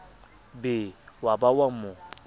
be wa ba wa mo